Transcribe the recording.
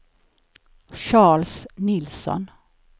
Charles Nilsson